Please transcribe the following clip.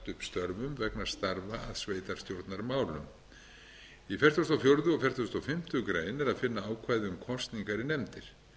störfum vegna starfa að sveitarstjórnarmálum í fertugustu og fjórða og fertugasta og fimmtu grein er að finna ákvæði um kosningar í nefndir